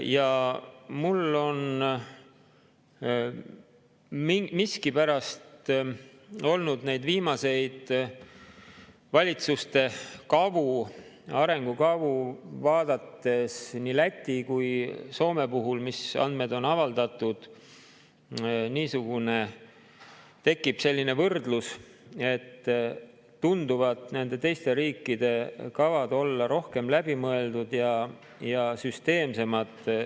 Ja mul miskipärast tekib, vaadates neid viimaseid valitsuste kavu, arengukavu, nii Läti kui Soome puhul, mis andmed on avaldatud, selline võrdlus, et teiste riikide kavad tunduvad olevat rohkem läbi mõeldud ja süsteemsemad.